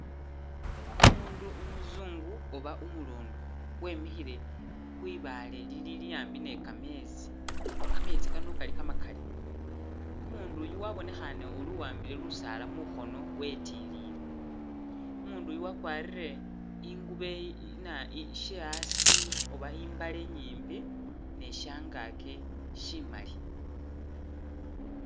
Umundu umuzungu oba umulondo wemikhile khwibaale lili a'ambi ni kametsi, kametsi kano kali kamakali, umundu uyu wabonekhane ori uwambile lusaala mukhono wetilile, umundu uyu wakwarile i'ngubo ina iye she' a'asi oba i'mbale nyimbi ne shangaki shimali